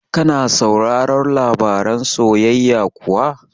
Ka na sauraron labaran soyayya kuwa?